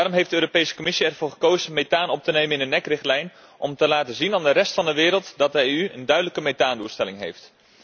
Daarom heeft de Europese Commissie ervoor gekozen methaan op te nemen in de NEC richtlijn om te laten zien aan de rest van de wereld dat de EU een duidelijke methaandoelstelling heeft.